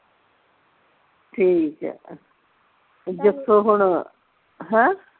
ਠੀਕ ਆ ਜੱਸੋ ਹੁਣ ਹੈ